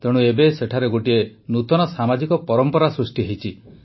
ତେଣୁ ଏବେ ସେଠାରେ ଗୋଟିଏ ନୂତନ ସାମାଜିକ ପରମ୍ପରା ସୃଷ୍ଟି ହୋଇଛି